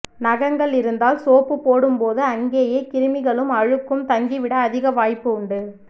நகங்கள் இருந்தால் சோப்பு போடும் போது அங்கேயே கிருமிகளும் அழுக்கும் தங்கிவிட அதிக வாய்ப்பு உண்டு